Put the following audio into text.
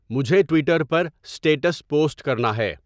مجھے ٹویٹر پر status post کرنا ہے